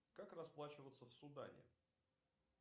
как расплачиваться в судане